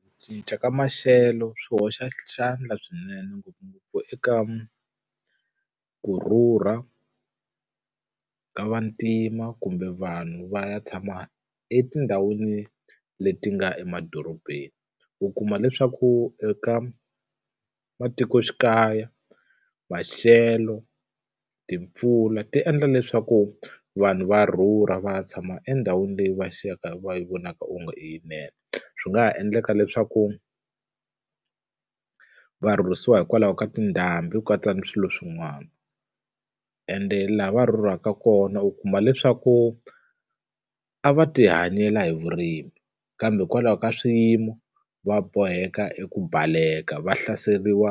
Ku cinca ka maxelo swi hoxa xandla swinene ngopfungopfu eka ku rhurha ka vantima kumbe vanhu va ya tshama etindhawini leti nga emadorobeni. U kuma leswaku eka matikoxikaya, maxelo, timpfula ti endla leswaku vanhu va rhurha va ya tshama endhawini leyi va siyaka va yi vonaka onge i yinene. Swi nga ha endleka leswaku va rhurhisiwa hikwalaho ka tindhambi, ku katsa na swilo swin'wana. ende laha va rhurhelaka kona u kuma leswaku a va tihanyela hi vurimi kambe hikwalaho ka swi xiyimo, va boheka eku baleka va hlaseriwa